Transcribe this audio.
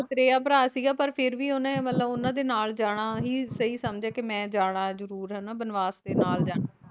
ਮਤਰੇਆ ਭਰਾ ਸੀਗਾ ਪਰ ਫਿਰ ਵੀ ਉਹਨੇ ਮਤਲਬ ਉਹਨਾਂ ਦੇ ਨਾਲ ਜਾਣਾ ਹੀ ਸਹੀ ਸਮਝਿਆ ਕੀ ਮੈਂ ਜਾਣਾ ਜਰੂਰ ਹਨਾਂ ਬਨਵਾਸ ਤੇ ਨਾਲ ਜਾਣਾ